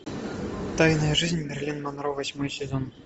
тайная жизнь мерлин монро восьмой сезон